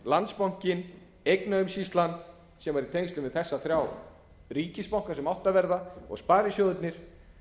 landsbankinn eignaumsýslan sem væri í tengslum við þessa þrjá ríkisbanka sem áttu að verða og sparisjóðirnir